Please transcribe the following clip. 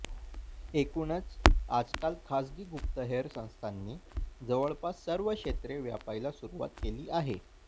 एकूणच आजकाल खासगी गुप्तहेर संस्थांनी जवळपास सर्व क्षेत्रे व्यापायला सुरूवात केली आहे